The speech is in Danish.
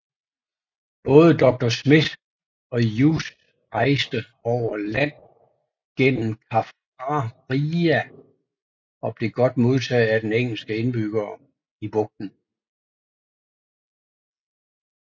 Både Dr Smith og Uys rejste over land gennem Kaffraria og blev godt modtaget af den engelske indbyggere i bugten